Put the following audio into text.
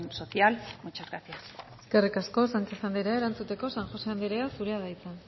social muchas gracias eskerrik asko sánchez andrea erantzuteko san josé andrea zurea da hitza